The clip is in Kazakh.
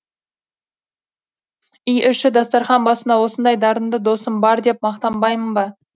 үй іші дастарқан басында осындай дарынды досым бар деп мақтанбаймын ба